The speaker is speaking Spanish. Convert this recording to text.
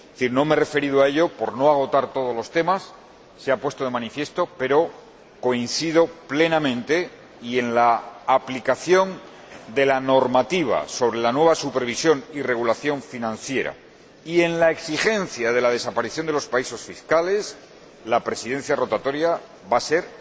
No me he referido a ello por no agotar todos los temas, pero coincido plenamente en la aplicación de la normativa sobre la nueva supervisión y regulación financiera En cuanto a la exigencia de la desaparición de los paraísos fiscales, la Presidencia rotatoria va a ser